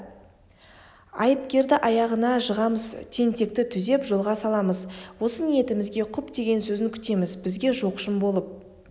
айыпкерді аяғына жығамыз тентекті түзеп жолға саламыз осы ниетімізге құп деген сөзін күтеміз бізге жоқшым болып